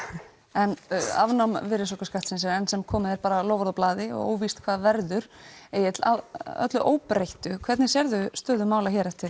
en afnám virðisaukaskattsins er enn sem komið er bara loforð á blaði og óvíst hvað verður Egill að öllu óbreyttu hvernig sérðu stöðu mála eftir